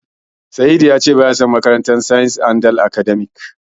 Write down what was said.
Sa'idu ya ce baya son makarantar Andal.